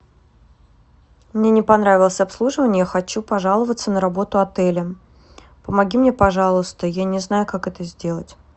мне не понравилось обслуживание я хочу пожаловаться на работу отеля помоги мне пожалуйста я не знаю как это сделать